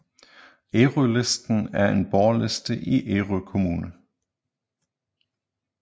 Ærølisten er en borgerliste i Ærø Kommune